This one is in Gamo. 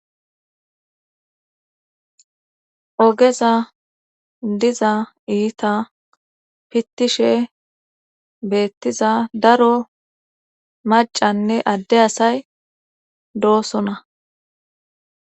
ogeza diza iita pittishe beettiza daro macanne adde asay doosona